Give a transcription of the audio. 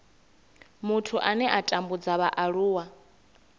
muthu ane a tambudza vhaaluwa